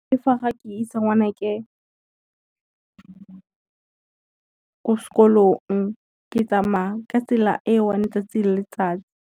Le fa ga ke isa ngwanake ko sekolong ke tsamaya ka tsela e one tsatsi le letsatsi.